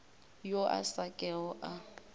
yo a sa kego a